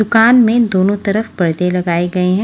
दुकान में दोनों तरफ परदे लगाए गए हैं।